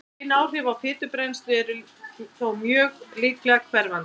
Bein áhrif á fitubrennslu eru þó mjög líklega hverfandi.